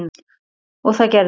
og það gerðu þau.